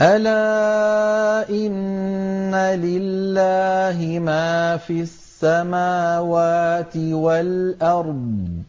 أَلَا إِنَّ لِلَّهِ مَا فِي السَّمَاوَاتِ وَالْأَرْضِ ۖ